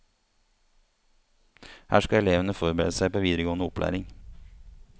Her skal elevene forberede seg på videregående opplæring.